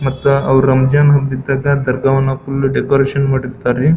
ಮತ್ತೆ ಅವ್ರು ರಂಜಾನ್ ಹಬ್ಬ ಇದ್ದಾಗ ದರ್ಗಾವನ್ನು ಫುಲ್ಲ್ ಡೆಕೋರೇಷನ್ ಮಾಡಿರತ್ತರಿ.